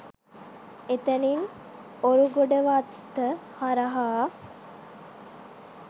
එතැනින් ඔරුගොඩවත්ත හරහා